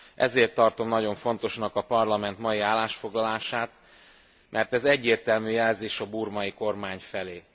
Ezért tartom nagyon fontosnak a Parlament mai állásfoglalását, mert ez egyértelmű jelzés a burmai kormány felé.